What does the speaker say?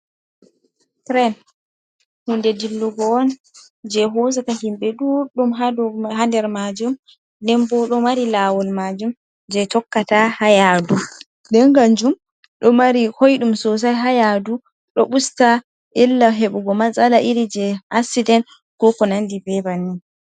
Tren, hunde dillugo on je hosata himɓe ɗuɗɗum ha der maajum, den bo ɗo mari laawol maajum jei tokkata ha yaadu. Nden kanjum, ɗo mari koiɗum sosai ha yaadu, do usta illah heɓugo matsala iri jei asident ko ko nandi be banni.